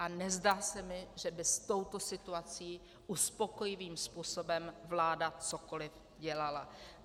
A nezdá se mi, že by s touto situací uspokojivým způsobem vláda cokoliv dělala.